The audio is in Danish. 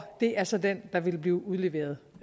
det er så den der vil blive udleveret